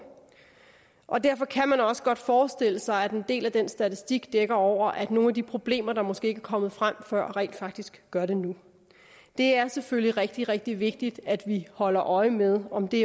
og derfor kan man også godt forestille sig at en del af den statistik dækker over at nogle af de problemer der måske ikke er kommet frem før rent faktisk gør det nu det er selvfølgelig rigtig rigtig vigtigt at vi holder øje med om det